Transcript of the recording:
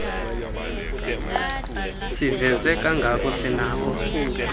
siveze kangako sinakho